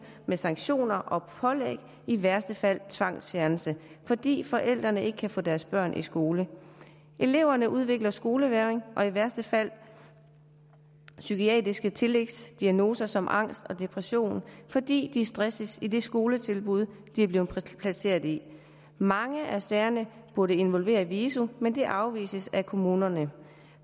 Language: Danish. med sanktioner og pålæg i værste fald tvangsfjernelse fordi forældrene ikke kan få deres børn i skole eleverne udvikler skolevægring og i værste fald psykiatriske tillægsdiagnoser som angst og depression fordi de stresses i det skoletilbud de er blevet placeret i mange af sagerne burde involvere viso men det afviser kommunerne